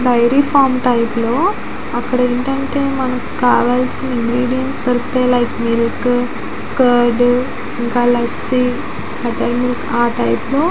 Dairy farm తలుపులు అక్కడ ఏంటి అంటే మనకి కావాల్సిన ఇంగ్రేడియెంట్స్ దొరుకుతాయి. లైక్ మిల్క్ కర్డ్ ఇంకా లస్సీ బట్టర్ మిల్క్ ఆ టైపు లో--